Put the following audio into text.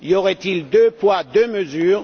Y aurait il deux poids deux mesures?